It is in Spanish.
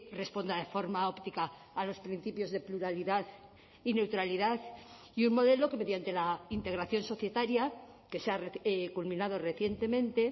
responda de forma óptica a los principios de pluralidad y neutralidad y un modelo que mediante la integración societaria que se ha culminado recientemente